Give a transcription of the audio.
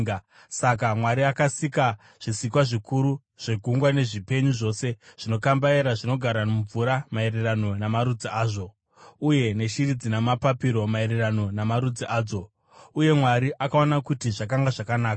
Saka Mwari akasika zvisikwa zvikuru zvegungwa nezvipenyu zvose zvinokambaira zvinogara mumvura, maererano namarudzi azvo, uye neshiri dzina mapapiro, maererano namarudzi adzo. Uye Mwari akaona kuti zvakanga zvakanaka.